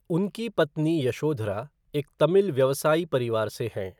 उनकी पत्नी यशोधरा एक तमिल व्यवसायी परिवार से हैं।